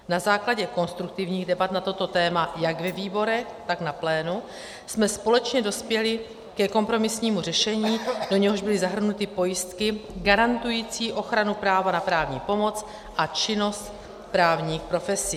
Na základě konstruktivních debat na toto téma jak ve výborech, tak na plénu jsme společně dospěli ke kompromisnímu řešení, do něhož byly zahrnuty pojistky garantující ochranu práva na právní pomoc a činnost právních profesí.